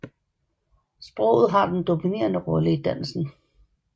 Sproget har den dominerende rolle i dansen